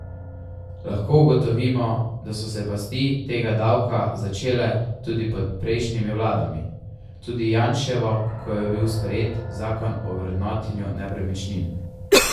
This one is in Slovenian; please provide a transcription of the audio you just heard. Lahko ugotovimo, da so se pasti tega davka začele tudi pod prejšnjimi vladami, tudi Janševo, ko je bil sprejet zakon o vrednotenju nepremičnin.